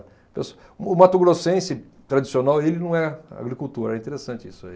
Pesso. O mato-grossense tradicional, ele não é agricultor, é interessante isso aí.